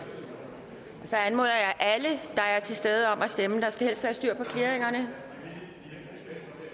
så anmoder jeg alle der er til stede om at stemme der skal helst være styr på clearingerne